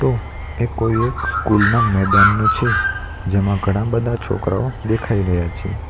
એ કોઈ એક સ્કૂલ ના મેદાનનું છે જેમાં ઘણા બધા છોકરાઓ દેખાઈ રહ્યા છે.